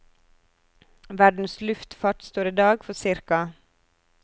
Verdens luftfart står i dag for ca.